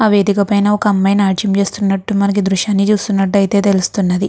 ఆ వేదిక మీద ఒక అమ్మయి నాట్యం చేస్తున్నట్టు మనకి ఈ దృశ్యాన్ని చూస్తున్నట్టాయితే తెలుస్తున్నద